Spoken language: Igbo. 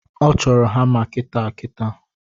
Ọ chọro hama kitaakitaa